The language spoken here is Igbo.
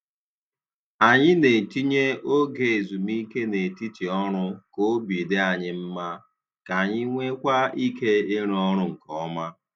Anyị na-etinye oge ezumike n'etiti ọrụ k'obi dị anyị mma, k'anyi nweekwa ike ịrụ ọrụ nke ọma.